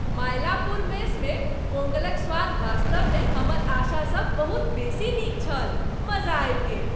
मायलापुर मेसमे पोंगलक स्वाद वास्तवमे हमर आशा सँ बहुत बेसी नीक छल। मजा आबि गेल।